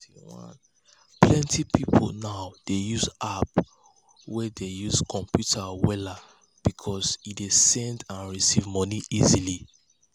plenty people now dey use app way dey use computer wella because e e dey send and receive money easily